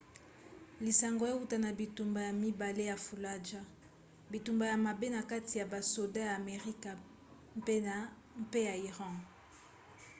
lisango euta na bitumba ya mibale ya fallujah bitumba ya mabe na kati ya basoda ya amerika mpe ya iran